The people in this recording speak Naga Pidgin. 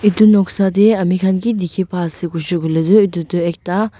edu noksa tae amikhan ki dikhipaiase koilae tu edu toh ekta.